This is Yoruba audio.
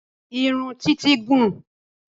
Irun títí gùn ún